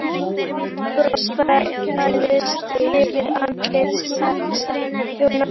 Veikt bros færðist yfir andlit Særúnar.